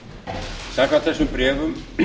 áttunda október samkvæmt þessum bréfum